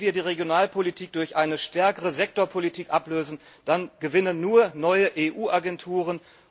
Wenn wir die Regionalpolitik durch eine stärkere Sektorpolitik ablösen, dann gewinnen nur neue EU Agenturen.